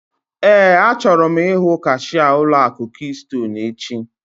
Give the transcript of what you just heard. Éè, achọrọ m ihu kashia ụlọ akụ kistonu echi